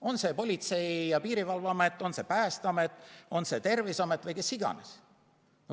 On see Politsei- ja Piirivalveamet, on see Päästeamet, on see Terviseamet või kes iganes.